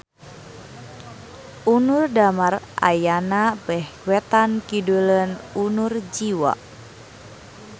Unur Damar ayana beh wetan-kiduleun Unur Jiwa